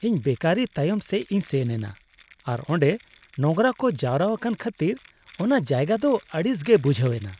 ᱤᱧ ᱵᱮᱠᱟᱨᱤ ᱛᱟᱭᱚᱢ ᱥᱮᱡᱽ ᱤᱧ ᱥᱮᱱ ᱮᱱᱟ ᱟᱨ ᱚᱰᱮ ᱱᱳᱝᱨᱟ ᱠᱚ ᱡᱟᱣᱨᱟ ᱟᱠᱟᱱ ᱠᱷᱟᱹᱛᱤᱨ ᱚᱱᱟ ᱡᱟᱭᱜᱟ ᱫᱚ ᱟᱹᱲᱤᱥ ᱜᱮ ᱵᱩᱡᱷᱟᱹᱣ ᱮᱱᱟ ᱾